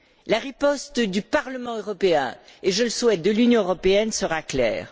La riposte du Parlement européen et, je le souhaite, de l'Union européenne, sera claire.